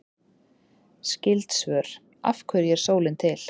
Skyld svör: Af hverju er sólin til?